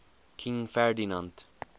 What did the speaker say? king ferdinand